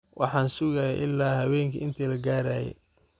Waxan sugaye ila hawenki inti lakagaraye.